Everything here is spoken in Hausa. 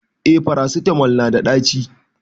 eh farasitamol nada daci